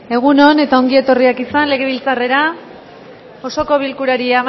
egun on eta ongi etorriak izan legebiltzarrera osoko bilkurari